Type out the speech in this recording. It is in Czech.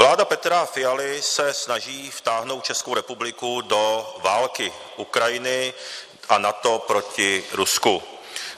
Vláda Petra Fialy se snaží vtáhnout Českou republiku do války Ukrajiny a NATO proti Rusku.